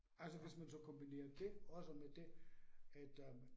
Altså hvis man så kombinerer det også med det, at øh